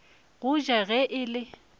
go ja ge e le